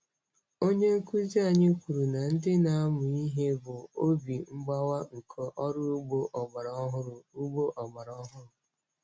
Onye nkuzi anyị kwuru na ndị na-amụ ihe bụ obi mgbawa nke ọrụ ugbo ọgbara ọhụrụ. ugbo ọgbara ọhụrụ.